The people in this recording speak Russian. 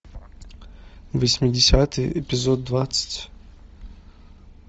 восьмидесятые эпизод двадцать